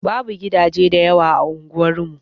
Babu gidaje da yawa a unguwar mu.